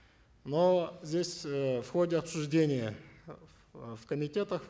но здесь э в ходе обсуждения э в э комитетах